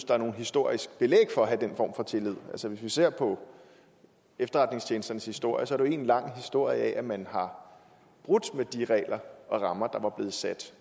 der er noget historisk belæg for at have den form for tillid altså hvis vi ser på efterretningstjenesternes historie er det en lang historie om at man har brudt med de regler og rammer der var blevet sat